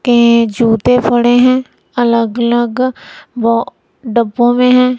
के जूते पड़े हुए हैं अलग अलग ब डब्बों में हैं।